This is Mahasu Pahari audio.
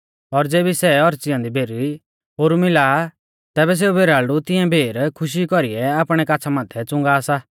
और ज़ेबी सै औच़ी ऐन्दी भेर ओरु मिला आ तैबै सेऊ भेराल़डु तिऐं भेर खुशी कौरीऐ आपणै काछ़ा माथै च़ुंगा सा